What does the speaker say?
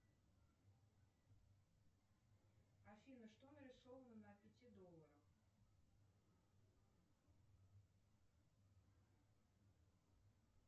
афина что нарисовано на пяти долларах